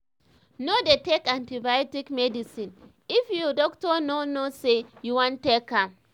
nor dey take antibiotics medicine if ur ur doctor nor know say u wan take am